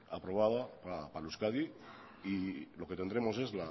aprobada para euskadi y lo que tendremos es